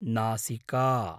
नासिका